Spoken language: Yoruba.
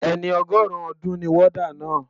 Ẹni ọgọrun ọdún ni warder náà.